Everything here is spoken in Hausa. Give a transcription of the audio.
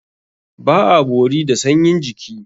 Ba a bori da sanyin jiki.